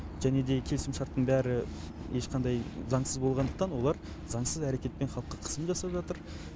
және де келісімшарттың бәрі ешқандай заңсыз болғандықтан олар заңсыз әрекетпен халыққа қысым жасап жатыр